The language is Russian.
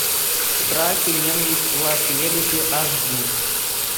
страх и ненависть в лас вегасе аш ди